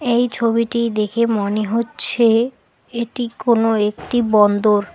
এই ছবিটি দেখে মনে হচ্ছে এটি কোন একটি বন্দর।